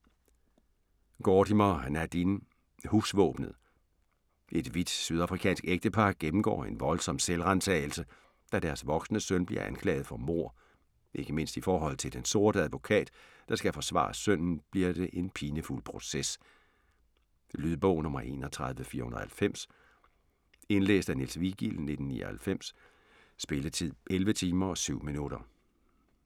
Gordimer, Nadine: Husvåbenet Et hvidt sydafrikansk ægtepar gennemgår en voldsom selvransagelse, da deres voksne søn bliver anklaget for mord. Ikke mindst i forhold til den sorte advokat, der skal forsvare sønnen, bliver det en pinefuld proces. Lydbog 31490 Indlæst af Niels Vigild, 1999. Spilletid: 11 timer, 7 minutter.